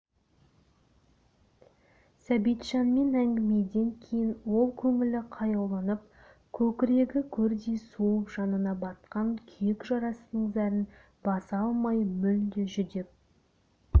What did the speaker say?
сәбитжанмен әңгімеден кейін ол көңілі қаяуланып көкірегі көрдей суып жанына батқан күйік жарасының зәрін баса алмай мүлде жүдеп